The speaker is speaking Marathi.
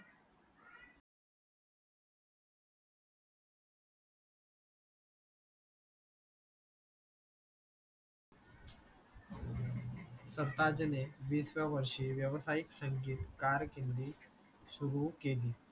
सरताज ने वीस व्व्याया वरशी वसायिक संकेत कारखिंडी सुरू केली